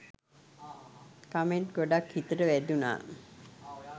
Comment ගොඩක් හිතට වැදුනා.